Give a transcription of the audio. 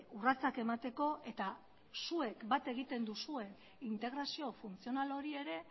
urratsak emateko eta zuek bat egiten duzue integrazio funtzional hori ere